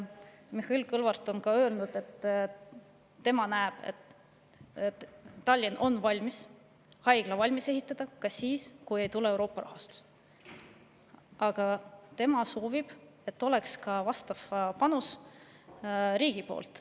Mihhail Kõlvart on öelnud, et tema näeb, et Tallinn on valmis haigla valmis ehitama ka siis, kui ei tule Euroopa rahastust, aga ta soovib, et oleks vastav panus riigi poolt.